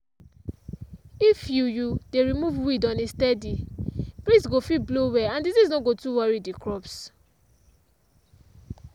if you you dey remove weed on a steady breeze go fit blow well and disease no go too worry the crops.